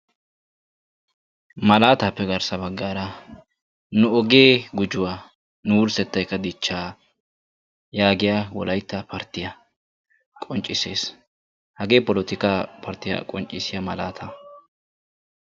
Malaataappe garssa bagaara nu ogee gujuwa nu wurssettaykka dichchaa yaagiya wolaytta parttiya qonccissees. hagee polotikkaa parttiya qoccissiya malaataa.